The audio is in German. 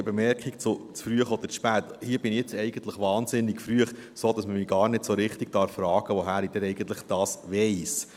Noch eine Bemerkung zu «zu früh oder zu spät»: Hier bin ich nun eigentlich wahnsinnig früh, sodass man mich gar nicht so richtig fragen darf, woher ich dies denn eigentlich wisse.